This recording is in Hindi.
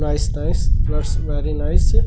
nice nice that's very nice --